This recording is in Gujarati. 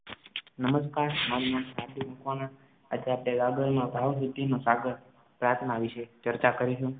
નમસ્કાર મારું નામ ઠાકુર મકવાણા અત્યારે પેલા આઘરનો ભાવવૃદ્ધિનો સાગર પ્રાથના વિષે ચર્ચા કરીશું